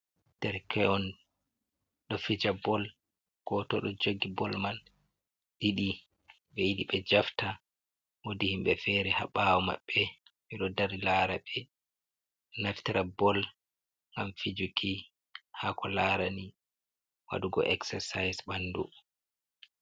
Derkeon ɗo fija bol, goto do jogi bol man, ɗiɗi ɓe yiɗi be jafta wodi himɓe fere ha bawo maɓɓe ɓe ɗo dari lara, ɓe naftra bol gam fijuki ha ko larani waɗugo exersise ɓandu.